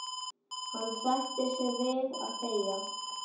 En hann sættir sig við að þegja.